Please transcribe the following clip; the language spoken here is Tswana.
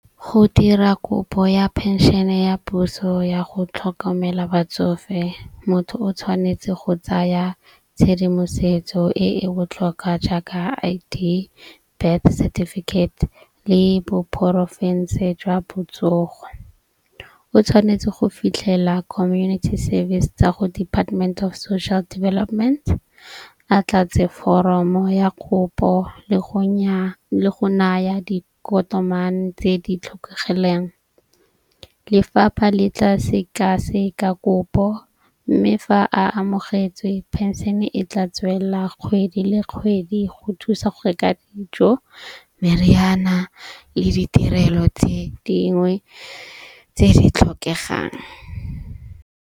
Go dira kopo ya penšene ya puso ya go tlhokomela batsofe. Motho o tshwanetse go tsaya tshedimosetso e e botlhokwa jaaka I_D, birth certificate le jwa botsogo. O tshwanetse go fitlhela community service tsa go department of social development. A tlatse foromo ya kopo le go naya tse di tlhokagaleng. Lefapha le tla sekaseka kopo. Mme fa a amogetswe penšene e tla tswelela kgwedi le kgwedi, go thusa gore ka dijo, meriana le ditirelo tse dingwe tse di tlhokegang.